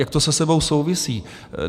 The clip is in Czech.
Jak to se sebou souvisí?